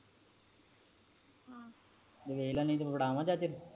ਤੂੰ ਵੇਖਲਾ ਨਹੀਂ ਤੇ ਫੜਾਵਾ ਚਾਚੇ ਨੂੰ